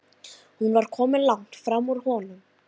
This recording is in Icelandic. Hún var komin langt fram úr honum.